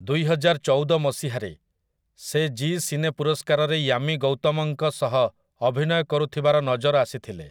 ଦୁଇହଜାରଚଉଦ ମସିହାରେ, ସେ Zee cine ପୁରସ୍କାରରେ ୟାମି ଗୌତମଙ୍କ ସହ ଅଭିନୟ କରୁଥିବାର ନଜର ଆସିଥିଲେ ।